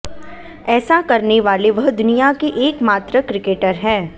ऐसा करने वाले वह दुनिया के एक मात्र क्रिकेटर हैं